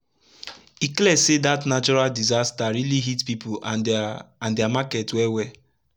e clear say dat natural disaster rili hit pipu and dia and dia market wel wel